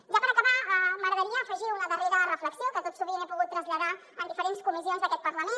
ja per acabar m’agradaria afegir una darrera reflexió que tot sovint he pogut traslladar en diferents comissions d’aquest parlament